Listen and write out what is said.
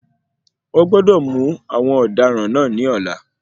Wón gbọ́dọ̀ mú àwọn ọ̀daràn náà ní ọ̀la.